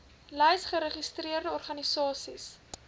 lys geregistreerde organisasies